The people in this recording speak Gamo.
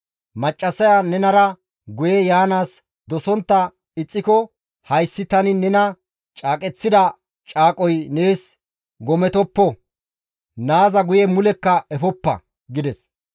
Maccassaya nenara guye yaanaas dosontta ixxiko hayssi tani nena caaqeththida caaqoy nees gometoppo; naaza guye mulekka efoppa» gides.